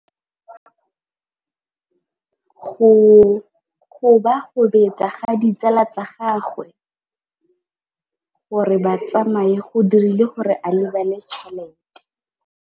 Go gobagobetsa ga ditsala tsa gagwe, gore ba tsamaye go dirile gore a lebale tšhelete.